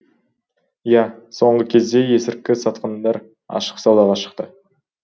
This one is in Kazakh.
иә соңғы кезде есірткі сатқандар ашық саудаға шықты